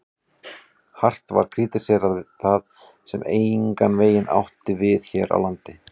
Hart var krítiserað það, sem engan veginn átti við hér á landi.